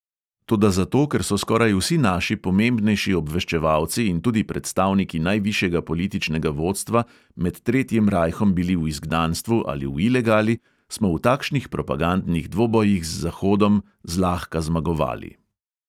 Toda zato, ker so skoraj vsi naši pomembnejši obveščevalci in tudi predstavniki najvišjega političnega vodstva med tretjim rajhom bili v izgnanstvu ali v ilegali, smo v takšnih propagandnih dvobojih z zahodom zlahka zmagovali.